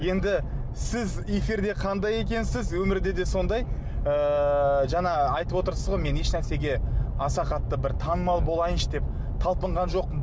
енді сіз эфирде қандай екенсіз өмірде де сондай ыыы жаңа айтып отырсыз ғой мен ешнәрсеге аса қатты бір танымал болайыншы деп талпынған жоқпын